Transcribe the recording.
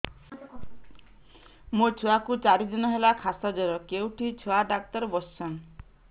ମୋ ଛୁଆ କୁ ଚାରି ଦିନ ହେଲା ଖାସ ଜର କେଉଁଠି ଛୁଆ ଡାକ୍ତର ଵସ୍ଛନ୍